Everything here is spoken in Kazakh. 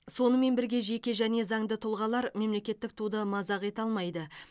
сонымен бірге жеке және заңды тұлғалар мемлекеттік туды мазақ ете алмайды